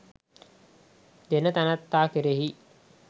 දෙන තැනැත්තා කෙරෙහි